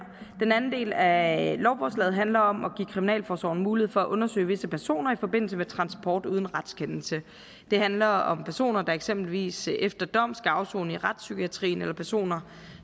den anden del af lovforslaget handler om at give kriminalforsorgen mulighed for at undersøge visse personer i forbindelse med transport uden retskendelse det handler om personer der eksempelvis efter dom skal afsone i retspsykiatrien eller personer